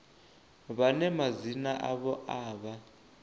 vhane madzina avho a vha